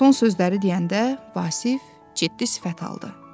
Son sözləri deyəndə Vasif ciddi sifət aldı.